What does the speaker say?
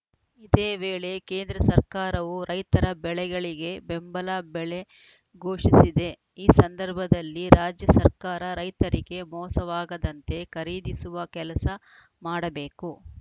ಇದೇವೇಳೆ ಕೇಂದ್ರ ಸರ್ಕಾರವು ರೈತರ ಬೆಳೆಗಳಿಗೆ ಬೆಂಬಲ ಬೆಲೆ ಘೋಷಿಸಿದೆ ಈ ಸಂದರ್ಭದಲ್ಲಿ ರಾಜ್ಯ ಸರ್ಕಾರ ರೈತರಿಗೆ ಮೋಸವಾಗದಂತೆ ಖರೀದಿಸುವ ಕೆಲಸ ಮಾಡಬೇಕು